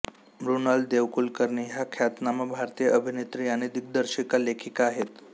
मृणाल देवकुलकर्णी ह्या ख्यातनाम भारतीय अभिनेत्री आणि दिग्दर्शिका लेखिका आहेत